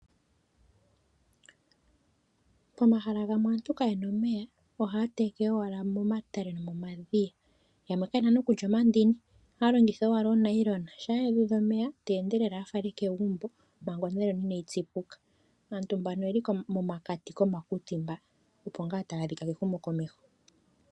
Pomahala gamwe aantu kayena omeya ohaya tekele owala momatele nomomadhiya. Yamwe kayena nee kutya onomandini ohaya owala onoonayilona shampa yuudha omeya teendelele a fale kegumbo manga onayilona inaayi tsi puka. Aantu mbono oyeli momakati gomakuti mba opo ngaa taya a dhika kehumo komeho.